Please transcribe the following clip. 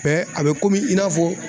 Mɛ a bɛ komi i n'a fɔ